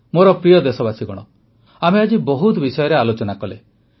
ମୋର ପ୍ରିୟ ଦେଶବାସୀଗଣ ଆମେ ଆଜି ବହୁତ ବିଷୟରେ ଆଲୋଚନା କଲେ